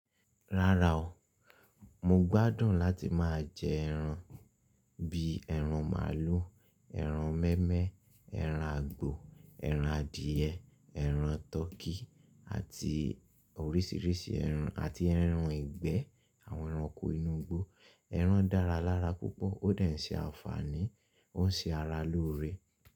Rárá o, mo gbádùn láti máa jẹ ẹran bíi ẹran màlúù, ẹran mémẹ́, ẹran àgbò, ẹran adìẹ, ẹran tọkí àti oríṣiríṣi ẹran àti ẹran ìgbẹ́. Àwọn ẹranko inú igbó. Ẹran dára lára púpọ̀ ó dà n ṣe àǹfààní, ó ń ṣe ara lóore.